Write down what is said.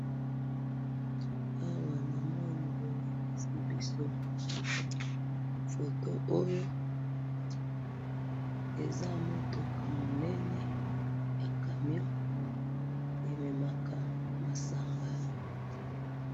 Awa namoni bolakisi biso,, foto oyo, eza mutuka munene, ya camion ememaka masanga.